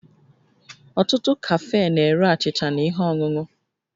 Ọtụtụ kafee na-ere achịcha na ihe ọṅụṅụ